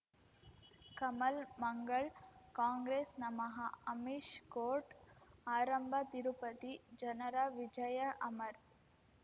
ಕಮಲ್ ಮಂಗಳ್ ಕಾಂಗ್ರೆಸ್ ನಮಃ ಅಮಿಷ್ ಕೋರ್ಟ್ ಆರಂಭ ತಿರುಪತಿ ಜನರ ವಿಜಯ ಅಮರ್